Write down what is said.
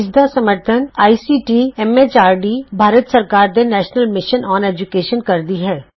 ਇਸ ਦਾ ਸਮਰੱਥਨ ਆਈਸੀਟੀ ਐਮ ਐਚਆਰਡੀ ਭਾਰਤ ਸਰਕਾਰ ਦੇ ਨੈਸ਼ਨਲ ਮਿਸ਼ਨ ਅੋਨ ਏਜੂਕੈਸ਼ਨ ਕਰਦੀ ਹੈ